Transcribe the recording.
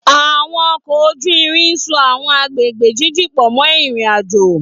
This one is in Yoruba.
Àwọn ọkọ̀ ojú irin so àwọn agbègbè jíjìn pọ̀ mọ́ ìrìn-àjò.